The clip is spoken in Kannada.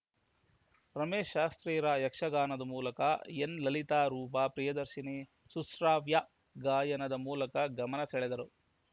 ರಮೇಶ್‌ ಶಾಸ್ತ್ರೀರ ಯಕ್ಷ ಗಾಯನದ ಮೂಲಕ ಎನ್‌ ಲಲಿತಾ ರೂಪಾ ಪ್ರಿಯದರ್ಶಿನಿ ಸುಶ್ರಾವ್ಯ ಗಾಯನದ ಮೂಲಕ ಗಮನಸೆಳೆದರು